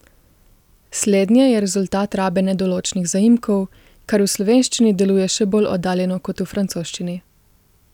Slednje je rezultat rabe nedoločnih zaimkov, kar v slovenščini deluje še bolj oddaljeno kot v francoščini.